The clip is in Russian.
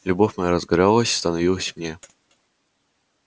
любовь моя разгоралась становилась мне